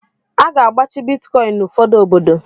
A ga-agbachi Bitkọin n'ụfọdụ obodo.